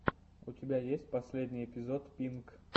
у тебя есть последний эпизод пинк